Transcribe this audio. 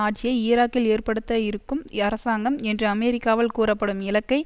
ஆட்சியை ஈராக்கில் ஏற்படுத்த இருக்கும் அரசாங்கம் என்று அமெரிக்கரால் கூறப்படும் இலக்கை